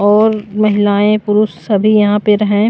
और महिलाएं पुरुष सभी यहां पर है ।